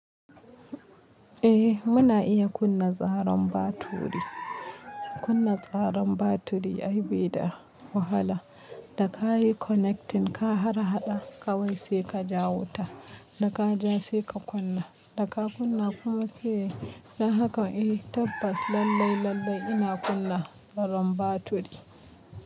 Eh muna iya kunna tsaron baturi, kunna tsaron baturi ayi bi da wahala, da ka yi connecting ka harhaɗa kawai sai ka ja wota, da ka ja sai ka kunna, da ka kunna kuma sai, dan haka i tabbas lallai lallai ina kunna tsaron baturi.